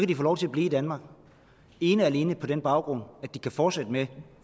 de få lov til at blive i danmark ene og alene på den baggrund at de kan fortsætte med